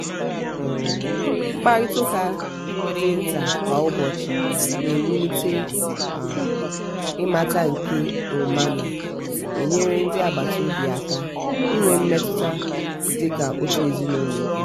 um mkparịta ụka dị nta kwa ụbọchi na-ewulite um imata nke ọmana-enyere ndị agbata obi aka inwe mmetụta dị ka òtù ezinụlọ ùkwù.